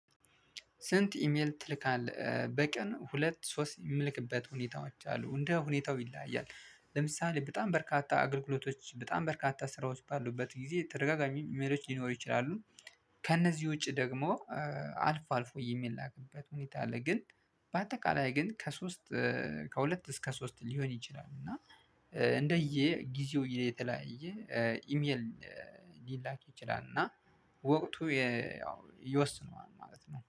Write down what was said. ስንት? ኢሜል ትልካለህ በቀን ሁለት ሶስት የምልክበት ሁኔታዎች አሉ እንደ ሁኔታው ይለያያል ለምሳሌ በጣም በርካታ አገልግሎቶች በጣም በርካታ ስራዎች ባሉበት ጊዜ ተደጋጋሚ ኢሜሎች ሊኖሩ ይችላሉ። ከእነዚህ ውጪ ደግሞ አልፎ አልፎ የሚላክበት ሁኔታ አለ። ግን በአጠቃላይ ግን ከሶስት ከሁለት እስከ ሶስት ሊሆን ይችላል እና እንደየ ጊዜው የተለያየ ኢሜል ሊላክ ይችላል። እና ወቅቱ ያው እየወሰነ ማለት ነው